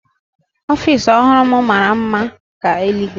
Ofiisi ọhụrụ m mara mma ka eluigwe